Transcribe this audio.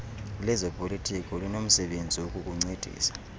lezopolitiko linomsebenzi wokukuncedisa